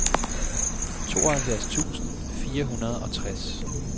tooghalvfjerds tusind fire hundrede og tres